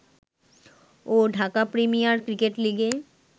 ও Dhaka premier cricket লিগে